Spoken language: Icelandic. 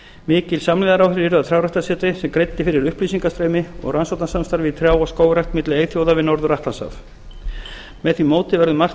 mikil samlegðaráhrif yrðu af trjáræktarsetri sem greiddi fyrir upplýsingastreymi og rannsóknasamstarfi í trjá og skógrækt milli eyþjóða við norður atlantshaf með því móti verður margt